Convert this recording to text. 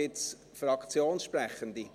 Gibt es Fraktionssprechende?